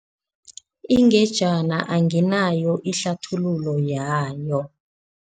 Ingejana anginayo ihlathululo yayo.